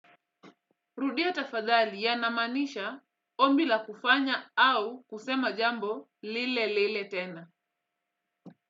Rudia tafadhali yanamaanisha ombi la kufanya au kusema jambo lile lile tena.